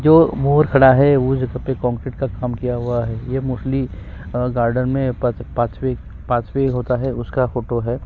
जो मोर खड़ा हुआ है वो का कांक्रीट का काम किया हुआ है ये मोस्टली अ गार्डन में पांचवें होता है उसका फोटो हैं।